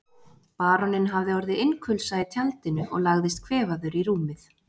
Baróninn hafði orðið innkulsa í tjaldinu og lagðist kvefaður í rúmið.